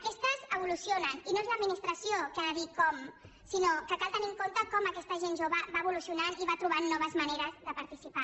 aquesta evoluciona i no és l’administració qui ha de dir com sinó que cal tenir en compte com aquesta gent jove va evolucionant i va trobant noves maneres de participar